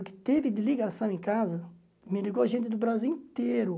O que teve de ligação em casa, me ligou gente do Brasil inteiro.